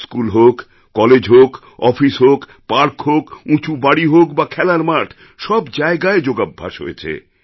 school হোক college হোক office হোক পার্ক হোক উঁচু বাড়ি হোক বা খেলার মাঠ সব জায়গায় যোগাভ্যাস হয়েছে